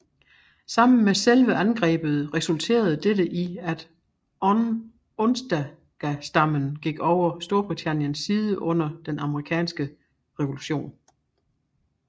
Sammen med selve angrebet resulterede dette i at Onondagastammen gik over på Storbritanniens side under Den Amerikanske Revolution